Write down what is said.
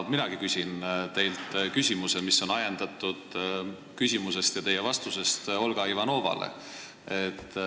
Mina küsin teilt küsimuse, mis on ajendatud teie vastusest Olga Ivanovale.